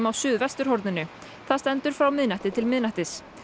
á suðvesturhorninu það stendur frá miðnætti til miðnættis